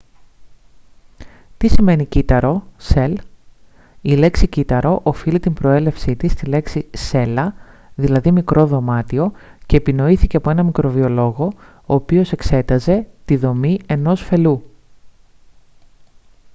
τι σημαίνει κύτταρο cell; η λέξη κύτταρο οφείλει την προέλευσή της στη λέξη «cella» δηλαδή «μικρό δωμάτιο» και επινοήθηκε από έναν μικροβιολόγο ο οποίος εξέταζε τη δομή ενός φελλού